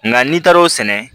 Nka n'i taar'o sɛnɛ